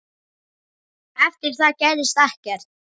Eftir það gerðist ekkert.